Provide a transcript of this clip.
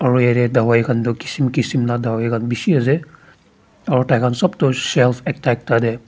aro yatey dawai kan toh kishim kishim la dawai khan bishi ase aro taikhan sop to shelf ekta ekta dey.